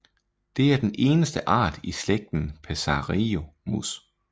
Det er den eneste art i slægten psarisomus